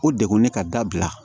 O degun ne ka dabila